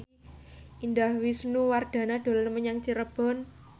Indah Wisnuwardana dolan menyang Cirebon